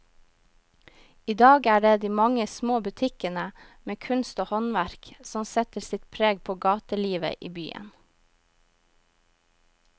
I dag er det de mange små butikkene med kunst og håndverk som setter sitt preg på gatelivet i byen.